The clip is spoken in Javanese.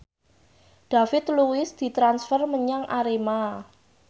David Luiz ditransfer menyang Arema